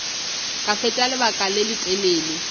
ka fetša lebaka le letelele